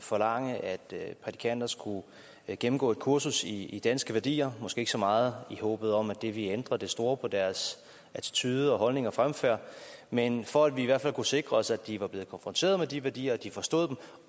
forlange at prædikanter skulle gennemgå et kursus i i danske værdier måske ikke så meget i håbet om at det ville ændre det store på deres attitude holdning og fremfærd men for at vi i hvert fald kunne sikre os at de var blevet konfronteret med de værdier og at de forstod